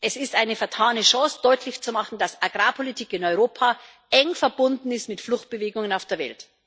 Es ist eine vertane Chance, deutlich zu machen, dass Agrarpolitik in Europa eng verbunden ist mit Fluchtbewegungen auf der Welt.